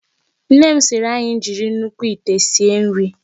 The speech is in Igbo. Nne m sịịrị anyị jiri nnukwu ite sie nri.